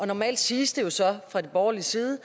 normalt siges det jo så fra den borgerlige side